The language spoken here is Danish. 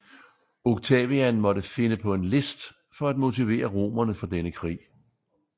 Octavian måtte finde på en list for at motivere romerne for denne krig